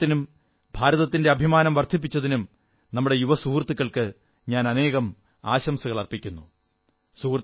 നമ്മുടെ ഈ നേട്ടത്തിനും ഭാരതത്തിന്റെ അഭിമാനം വർധിപ്പിച്ചതിനും നമ്മുടെ യുവ സുഹൃത്തുക്കൾക്ക് ഞാൻ അനേകം ആശംസകളർപ്പിക്കുന്നു